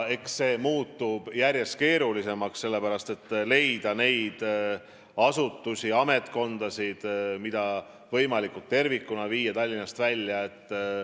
Eks muutub järjest keerulisemaks leida asutusi, mida saaks võimalikult tervikuna Tallinnast välja viia.